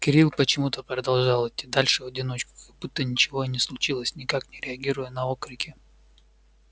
кирилл почему-то продолжал идти дальше в одиночку как будто ничего и не случилось никак не реагируя на окрики